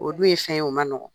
O dun ye fɛn ye o man nɔgɔn.